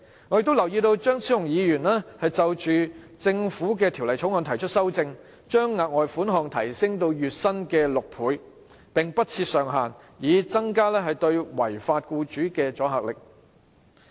我亦留意到張超雄議員就《條例草案》提出修正案，建議將額外款項提升至月薪6倍，並不設上限，以增加對違法僱主的阻嚇力。